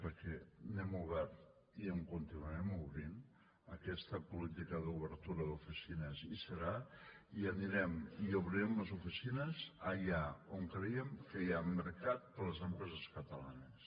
perquè n’hem obert i en continuarem obrint aquesta política d’obertura hi serà i anirem i obrirem les oficines allà on creiem que hi ha mercat per a les empreses catalanes